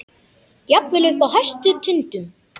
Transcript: Jafnvel uppi á hæstu tindum.